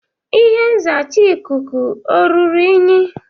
Ihe nzacha ikuku ọ ruru unyi?